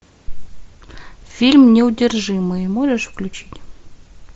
фильм неудержимые можешь включить